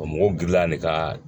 O mɔgɔ girinna ale ka